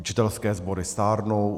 Učitelské sbory stárnou.